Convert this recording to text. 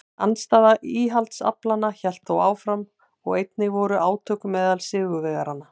Andstaða íhaldsaflanna hélt þó áfram og einnig voru átök meðal sigurvegaranna.